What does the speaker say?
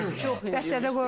Çox çox idi.